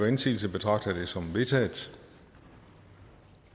indsigelse betragter jeg det som vedtaget